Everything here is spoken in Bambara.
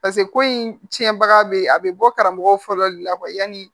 pase ko in tiɲɛbaga bɛ a bɛ bɔ karamɔgɔ fɔlɔ de la yanni